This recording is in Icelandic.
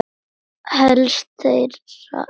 Helst þeirra eru